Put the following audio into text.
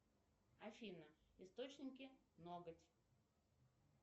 афина источники ноготь